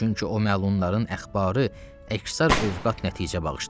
Çünki o məlumların əxbarı əksər övqad nəticə bağışlayır.